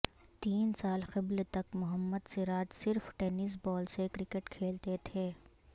تین سال قبل تک محمد سراج صرف ٹینس بال سے کرکٹ کھیلتے تھے